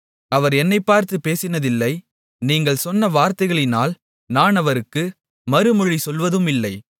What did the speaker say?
அவர் என்னைப்பார்த்துப் பேசினதில்லை நீங்கள் சொன்ன வார்த்தைகளினால் நான் அவருக்கு மறுமொழி சொல்வதுமில்லை